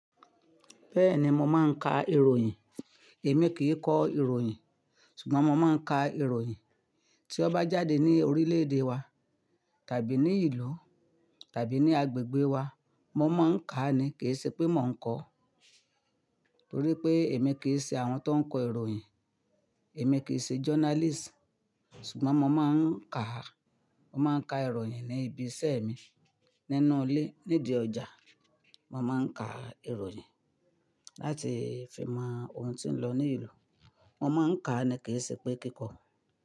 Bẹ́ẹ̀ni mo máa ń ka ìròyìn. Èmi kì í kọ ìròyìn, ṣùgbọ́n mo máa ń ka ìròyìn. Tí ó bá jáde ní orílẹ̀-èdè wa tàbí ní ìlú tàbí ní agbègbè wa, mo máa ń kà á ni, kì í ṣe pé mò ń kọ. Torí pé èmi kì í ṣe àwọn tó ń kọ ìròyìn, èmi kì í ṣe journalist, ṣùgbọ́n mo máa ń kà á, mo máa ń ka ìròyìn ní ibi iṣẹ́ mi nínú ilé, nídi ọjà. Mo máa ń ka ìròyìn láti fi mọ ohun tí ń lọ ní ìlú. Mo máa ń kà á ni kì í ṣe pé kíkọ.